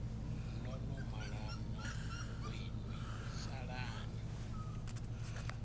no no malana vhoinwi salani